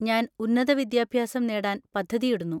ഞാൻ ഉന്നത വിദ്യാഭ്യാസം നേടാൻ പദ്ധതിയിടുന്നു.